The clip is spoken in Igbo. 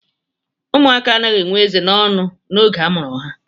Ụmụaka anaghị enwe eze n'ọnụ oge a mụrụ ha